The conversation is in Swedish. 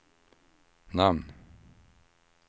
namn